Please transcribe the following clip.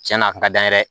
Cɛn na a kun ka d'an ye dɛ